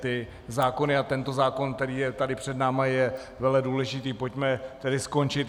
Ty zákony a tento zákon, který je tady před námi, je veledůležitý, pojďme tedy skončit.